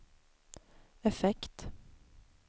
effekt